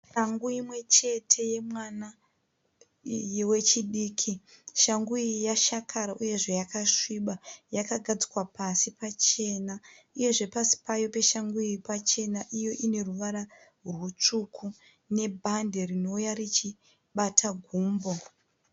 Shangu imwe chete yemwana wechidiki, shangu iyi yashakara uyezve yakasviba yakagadzikwa pasi pachena, uyezve pasi payo peshangu iyi pachena, iyo ine ruvara rutsvuku nebhadhi rinouya richibata gumbo.